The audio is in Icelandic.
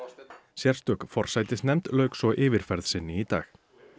sérstök forsætisnefnd lauk svo yfirferð sinni í dag